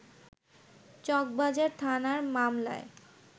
চকবাজার থানার মামলায়